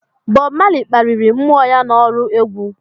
Bob Marley kpaliri mmou ya n'ọrụ egwu